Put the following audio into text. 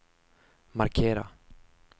markera